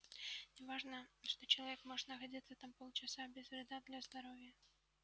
не важно что человек может находиться там полчаса без вреда для здоровья